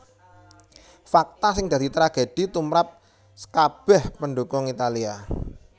Fakta sing dadi tragedi tumrap skabèh pendhukung Italia